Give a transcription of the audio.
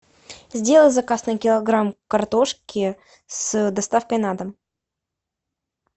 сделай заказ на килограмм картошки с доставкой на дом